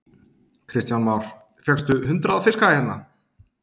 Kristján Már: Fékkstu hundrað fiska hérna?